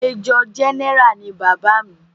Major general ni bàbá mi.